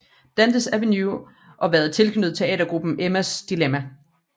Dantes Aveny og været tilknyttet teatergruppen Emmas Dilemma